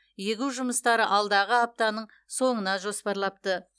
егу жұмыстары алдағы аптаның соңына жоспарлапты